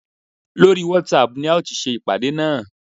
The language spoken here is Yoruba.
Lórí whatsapp ni a ó ti ṣe ìpàdé náà